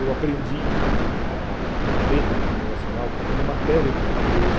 Eu aprendi a a letra do hino nacional como matéria de português.